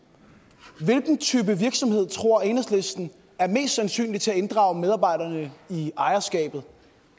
hvilken type virksomhed tror enhedslisten mest sandsynligt vil inddrage medarbejderne i ejerskabet